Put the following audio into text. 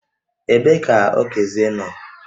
Ebee ka Okezie nọ?